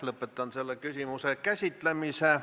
Lõpetan selle küsimuse käsitlemise.